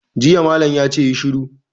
Jiya malam ya ce 'Yi shiru'!